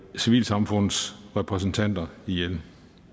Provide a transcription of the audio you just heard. civilsamfundsrepræsentanter ihjel